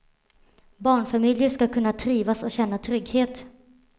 Barnfamiljer ska kunna trivas och känna trygghet.